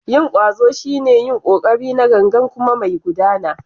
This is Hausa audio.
Yin ƙwazo shine yin ƙoƙari na gangan kuma mai gudana.